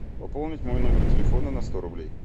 пополнить мой номер телефона на сто рублей